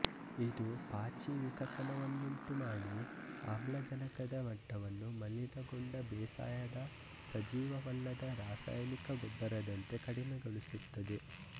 ಇದು ಪಾಚಿ ವಿಕಸನವನ್ನುಂಟು ಮಾಡಿ ಆಮ್ಲಜನಕದ ಮಟ್ಟವನ್ನು ಮಲಿನಗೊಂಡ ಬೇಸಾಯದ ಸಜೀವವಲ್ಲದ ರಾಸಾಯನಿಕ ಗೊಬ್ಬರದಂತೆ ಕಡಿಮೆಗೊಳಿಸುತ್ತದೆ